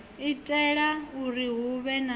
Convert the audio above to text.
itela uri hu vhe na